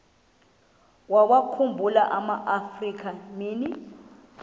wawakhumbul amaafrika mini